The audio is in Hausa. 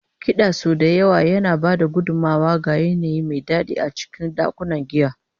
Kiɗa sau da yawa yana ba da gudummawa ga yanayi mai daɗi a cikin ɗakunan giya.